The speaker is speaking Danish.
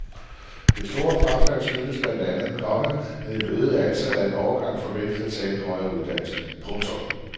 Det store frafald skyldes blandt andet, komma at et øget antal af en årgang forventes at tage en højere uddannelse. punktum